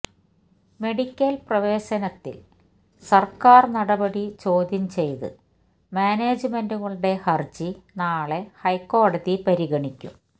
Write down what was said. medical പ്രവേശനത്തില് സര്ക്കാര് നടപടി ചോദ്യം ചെയ്ത് മാനേജ്മെന്റുകളുടെ ഹര്ജി നാളെ ഹൈക്കോടതി പരിഗണിക്കും